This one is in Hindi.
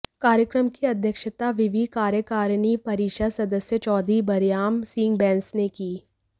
कार्यक्रम की अध्यक्षता विवि कार्यकारिणी परिषद् सदस्य चौधरी बरयाम सिंह बैंस ने की